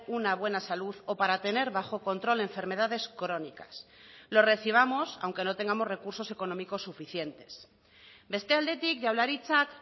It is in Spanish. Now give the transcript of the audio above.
una buena salud o para tener bajo control enfermedades crónicas lo recibamos aunque no tengamos recursos económicos suficientes beste aldetik jaurlaritzak